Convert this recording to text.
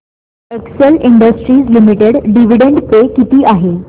Excel Industries Limited dividend pay किती आहे